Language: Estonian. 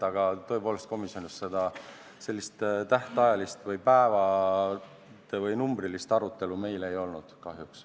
Aga tõepoolest, komisjonis sellist päevade tähtajalist või numbrilist arutelu meil ei olnud kahjuks.